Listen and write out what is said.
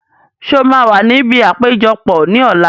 Sé wàá wà níbi àpéjọpọ̀ ní ọ̀la?